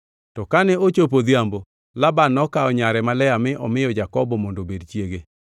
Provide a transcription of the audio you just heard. To kane ochopo odhiambo, Laban nokawo nyare ma Lea mi omiyo Jakobo mondo obed chiege.